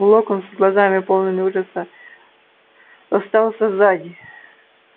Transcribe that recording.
локонс с глазами полными ужаса остался сзади